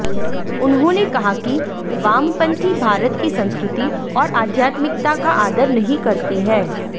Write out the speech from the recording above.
उन्होंने कहा कि वामपंथी भारत की संस्कृति और अध्यात्मिकता का आदर नहीं करते हैं